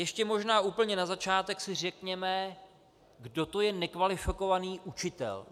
Ještě možná úplně na začátek si řekněme, kdo to je nekvalifikovaný učitel.